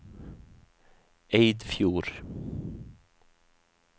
Eidfjord